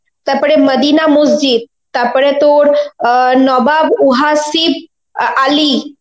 তারপরে মদিনা মসজিদ তারপরে তোর অ্যাঁ নবাব উহাসিফ আ~ আলি,